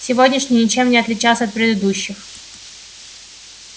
сегодняшний ничем не отличался от предыдущих